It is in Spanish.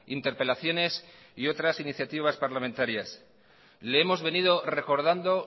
interpelaciones y otras iniciativas parlamentarias le hemos venido recordando